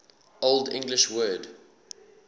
old english word